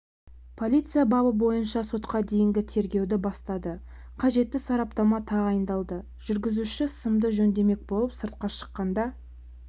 полиция бабы бойынша сотқа дейінгі тергеуді бастады қажетті сараптама тағайындалды жүргізуші сымды жөндемек болып сыртқа шыққанда